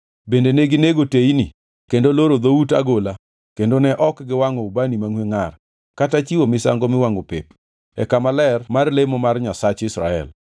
Bende neginego teyni kendo loro dhout agola kendo ne ok giwangʼo ubani mangʼwe ngʼar kata chiwo misango miwangʼo pep e kama ler mar lemo mar Nyasach Israel.